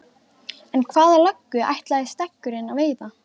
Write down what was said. En hvaða löggu ætlaði Steggurinn að veiða?